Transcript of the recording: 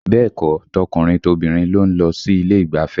Bẹ́ẹ̀ kọ́, tọkùnrin tobìnrin ló ń lọ sí ilé ìgbafẹ́